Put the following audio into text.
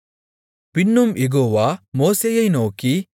பின்னும் யெகோவா மோசேயை நோக்கி